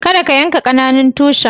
Kadda ka yanka ƙananan tushin!